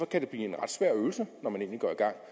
kan det blive en ret svær øvelse når man går i gang